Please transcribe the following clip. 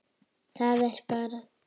Það er bara.